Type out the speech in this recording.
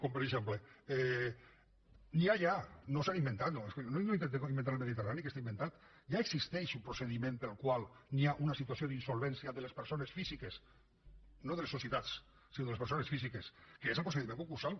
com per exemple n’hi ha ja no s’ho han inventat no intentin inventar el mediterrani que està inventat ja existeix un procediment pel qual hi ha una situació d’insolvència de les persones físiques no de les societats sinó de les persones físiques que és el procediment concursal